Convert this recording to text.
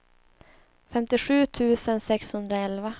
femtiosju tusen sexhundraelva